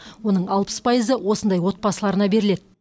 оның алпыс пайызы осындай отбасыларына беріледі